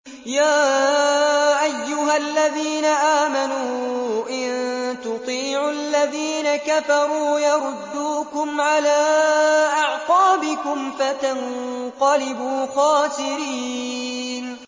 يَا أَيُّهَا الَّذِينَ آمَنُوا إِن تُطِيعُوا الَّذِينَ كَفَرُوا يَرُدُّوكُمْ عَلَىٰ أَعْقَابِكُمْ فَتَنقَلِبُوا خَاسِرِينَ